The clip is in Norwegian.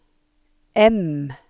M